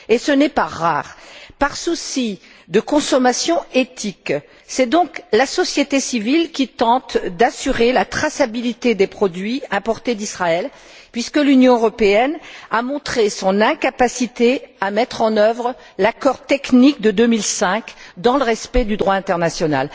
Et ce n'est pas rare! Dans un esprit de consommation éthique, c'est donc la société civile qui tente d'assurer la traçabilité des produits importés d'Israël, puisque l'Union européenne a montré son incapacité à mettre en œuvre l'accord technique de 2005 dans le respect du droit international.